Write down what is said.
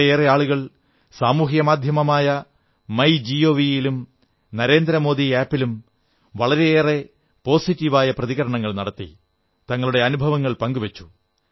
വളരെയേറെ ആളുകൾ സാമൂഹിക മാധ്യമമായ മൈ ജിഒവി ലും നരേന്ദ്രമോദി ആപ് ലും വളരെയേറെ സകാരാത്മകമായ പ്രതികരണങ്ങൾ നടത്തി തങ്ങളുടെ അനുഭവങ്ങൾ പങ്കു വച്ചു